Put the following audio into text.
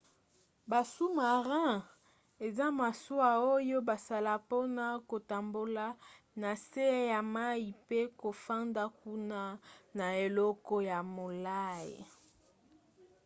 ba sous-marins eza masuwa oyo basala mpona kotambola na se ya mai pe kofanda kuna na eleko ya molai